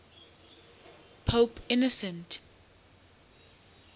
pope innocent